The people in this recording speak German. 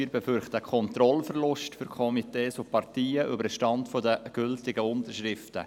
Wir befürchten einen Kontrollverlust für Komitees und Parteien über den Stand der gültigen Unterschriften.